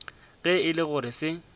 ge e le gore se